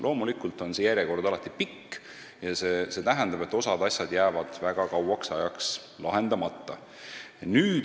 Loomulikult on järjekord alati pikk ja see tähendab, et osa asju jäävad väga kaua aega tegemata.